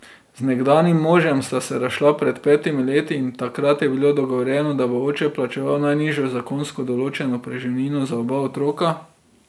Z nekdanjim možem sta se razšla pred petimi leti in takrat je bilo dogovorjeno, da bo oče plačeval najnižjo zakonsko določeno preživnino za oba otroka.